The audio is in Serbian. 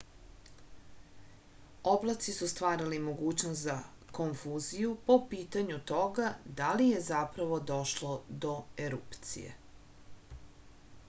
oblaci su stvarali mogućnost za konfuziju po pitanju toga da li je zapravo došlo do erupcije